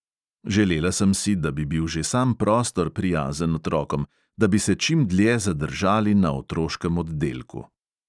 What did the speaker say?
Želela sem si, da bi bil že sam prostor prijazen otrokom, da bi se čim dlje zadržali na otroškem oddelku.